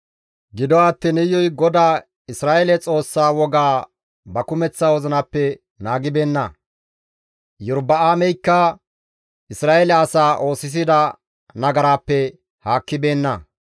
Gido attiin Iyuy GODAA Isra7eele Xoossa wogaa ba kumeththa wozinappe naagibeenna; Iyorba7aameykka Isra7eele asaa oosisida nagaraappe haakkibeenna.